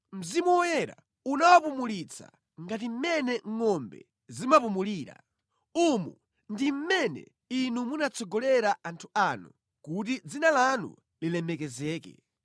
Mzimu Woyera unawapumulitsa ngati mmene ngʼombe zimapumulira. Umu ndi mmene Inu munatsogolera anthu anu kuti dzina lanu lilemekezeke.”